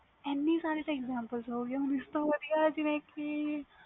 ਇਨੀ ਸਾਰੀ example ਦਿਤੀਆਂ ਹੋਰ ਉਸ ਤੋਂ ਵਧੀਆ ਜਿਵੇ ਕੀ